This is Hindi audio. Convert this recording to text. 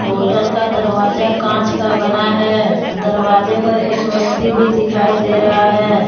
होटल का दरवाजा कांच का बना है दरवाजे पर एक व्यक्ति भी दिखाई दे रहा है।